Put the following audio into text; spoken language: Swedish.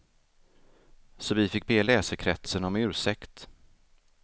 Så vi fick be läsekretsen om ursäkt.